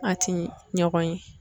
A ti ɲɔgɔn ye.